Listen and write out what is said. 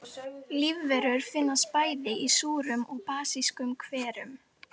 Lífverur finnast bæði í súrum og basískum hverum.